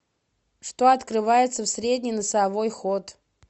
что открывается в средний носовой ход